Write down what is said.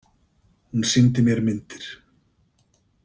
Hún sýndi mér myndir.